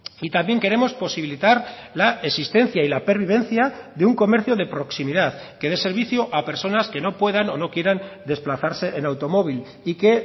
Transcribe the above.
y también queremos posibilitar la existencia y la pervivencia de un comercio de proximidad que dé servicio a personas que no puedan o no quieran desplazarse en automóvil y que